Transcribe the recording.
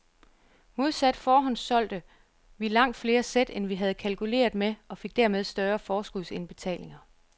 Modsat forhåndssolgte vi langt flere sæt, end vi havde kalkuleret med og fik dermed større forskudsindbetalinger.